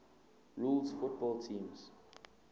rules football teams